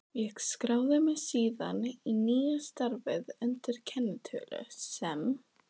Ég skráði mig síðan í nýja starfið undir kennitölu sem